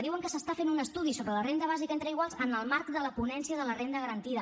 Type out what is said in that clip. diuen que s’està fent un estudi de la renda bàsica entre iguals en el marc de la ponència de la renda garantida